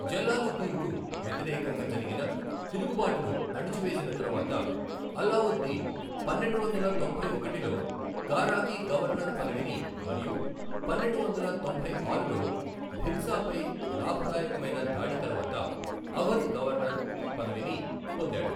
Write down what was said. జలాలుద్దీన్కు వ్యతిరేకంగా జరిగిన తిరుగుబాటును అణచివేసిన తరువాత, అల్లావుద్దీన్ పన్నెండువందల తొంభై ఒకటిలో కారాకి గవర్నర్ పదవిని మరియు పన్నెండు వందల తొంభై ఆరులో భిల్సాపై లాభదాయకమైన దాడి తర్వాత అవధ్ గవర్నర్ పదవిను పొందాడు.